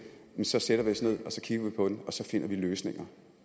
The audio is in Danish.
så sætter vi os ned og kigger vi på den og så finder vi løsninger